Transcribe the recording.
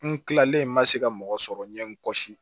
N kilalen ma se ka mɔgɔ sɔrɔ n ɲe n kɔsi